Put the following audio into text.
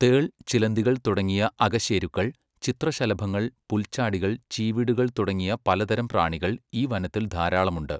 തേൾ, ചിലന്തികൾ തുടങ്ങിയ അകശേരുക്കൾ, ചിത്രശലഭങ്ങൾ, പുൽച്ചാടികൾ, ചീവീടുകൾ തുടങ്ങിയ പലതരം പ്രാണികൾ ഈ വനത്തിൽ ധാരാളമുണ്ട്.